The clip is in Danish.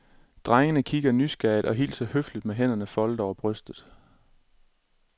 Drengene kigger nysgerrigt og hilser høfligt med hænderne foldet over brystet.